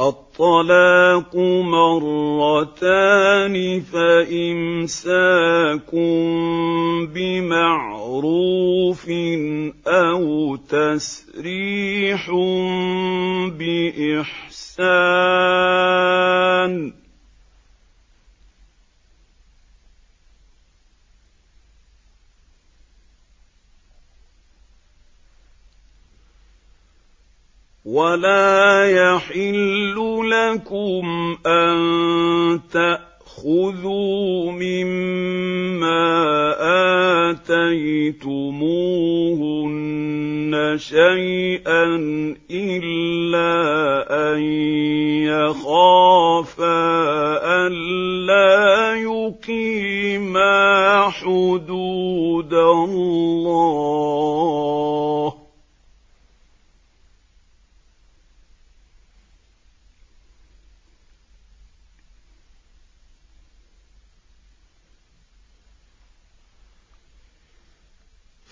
الطَّلَاقُ مَرَّتَانِ ۖ فَإِمْسَاكٌ بِمَعْرُوفٍ أَوْ تَسْرِيحٌ بِإِحْسَانٍ ۗ وَلَا يَحِلُّ لَكُمْ أَن تَأْخُذُوا مِمَّا آتَيْتُمُوهُنَّ شَيْئًا إِلَّا أَن يَخَافَا أَلَّا يُقِيمَا حُدُودَ اللَّهِ ۖ